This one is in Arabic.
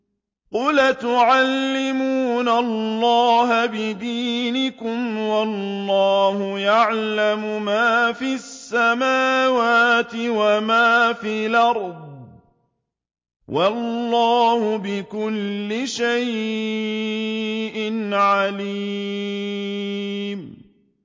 قُلْ أَتُعَلِّمُونَ اللَّهَ بِدِينِكُمْ وَاللَّهُ يَعْلَمُ مَا فِي السَّمَاوَاتِ وَمَا فِي الْأَرْضِ ۚ وَاللَّهُ بِكُلِّ شَيْءٍ عَلِيمٌ